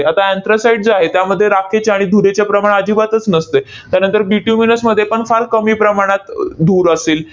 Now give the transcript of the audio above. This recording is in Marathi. आता anthracite जे आहे, त्यामध्ये राखेचे आणि धुरेचे प्रमाण अजिबातच नसते. त्यानंतर bituminous मध्ये पण फार कमी प्रमाणात धूर असेल.